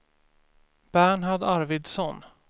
Bernhard Arvidsson